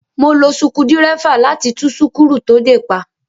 Mo lo sukudírẹ́fà láti tú súkúrù to dè pa.